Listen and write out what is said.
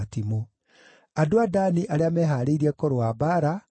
andũ a Dani arĩa mehaarĩirie kũrũa mbaara, maarĩ 28,600;